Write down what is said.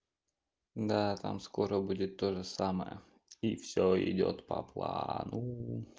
да там скоро будет тоже самое и все идёт по плану